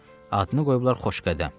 Adını qoyublar Xoşqədəm.